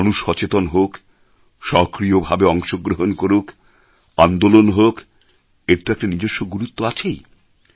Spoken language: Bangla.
মানুষ সচেতন হোক সক্রিয় ভাবে অংশ গ্রহণ করুক আন্দোলন হোক এর তো একটা নিজস্ব গুরুত্ব আছেই